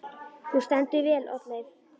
Þú stendur þig vel, Oddleif!